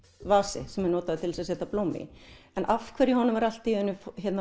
vasi sem er notaður til þess að setja blóm í en af hverju honum var allt í einu